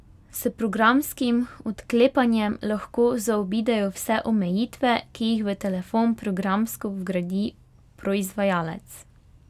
S programskim odklepanjem lahko zaobidejo vse omejitve, ki jih v telefon programsko vgradi proizvajalec.